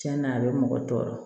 Tiɲɛna a bɛ mɔgɔ tɔɔrɔ